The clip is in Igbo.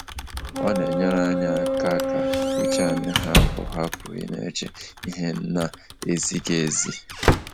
Ọ na enyere anyị aka ka uche anyị hapụ hapụ ịna eche ihe na ezighị ezi.